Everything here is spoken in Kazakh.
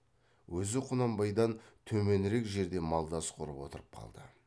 өзі құнанбайдан төменірек жерде малдас құрып отырып қалды